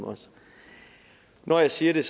når jeg siger det